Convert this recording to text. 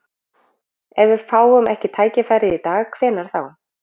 Ef við fáum ekki tækifærið í dag, hvenær þá?